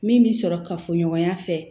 Min bi sɔrɔ ka fɔ ɲɔgɔnya fɛ